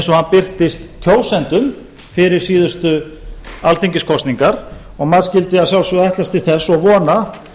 hann birtist kjósendum fyrir síðustu alþingiskosningar maður skyldi að sjálfsögðu ætlast til þess og vona